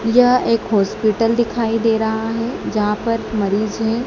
यह एक हॉस्पिटल दिखाई दे रहा है जहां पर मरीज हैं।